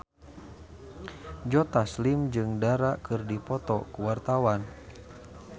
Joe Taslim jeung Dara keur dipoto ku wartawan